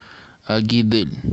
агидель